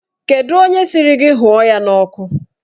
Kedụ onye sịrị gị hụọ ya n'ọkụ?